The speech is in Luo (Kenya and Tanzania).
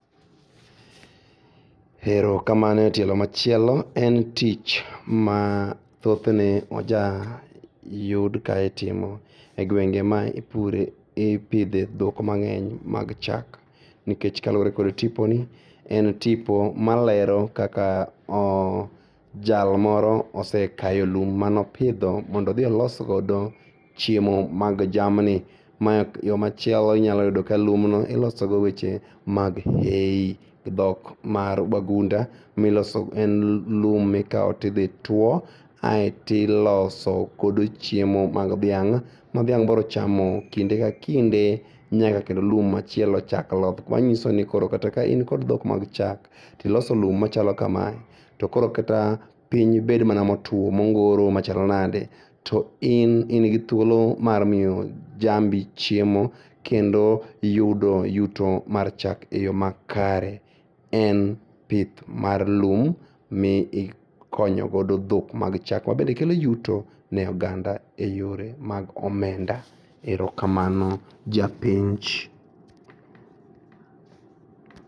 Erokamano e tielo machielo en tich ma thothne ja yud ka itimo e gwenge ma ipure, ipidhe dhok mang'eny mag chak nikech kaluore kod tiponi en tipo malero kaka ooo jalmoro osekayo lum manopidho mondodhi olosgodo chiemo mag jamni ma yo machielo inyalo yudo ka lumno ilosogo weche mag dhok mar jogunda miloso en lum mikawo tidhituo ae tiloso kogo chiemo mag dhiang' ma dhiang' brochamo kinde ka kinde nyaka kendo lum machielo chak loth manyisoni kata ka in kod dhok mag chak tiloso lum machalo kamae to koro kata piny bed mana motuo mongoro machalo nade to in ingi thuolo mar miyo jambi chiemo kendo yudo yuto mar chak e yoo ma kare. En pith mar lum miikonyo godo dhok mag chak mabende kelo yuto ne oganda e yore mag omenda. Erokamano japenj.